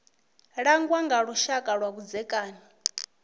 langwa nga lushaka lwa vhudzekani